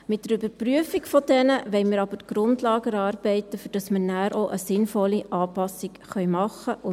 Mit ihrer Überprüfung wollen wir aber die Grundlage erarbeiten, damit wir nachher auch eine sinnvolle Anpassung machen können.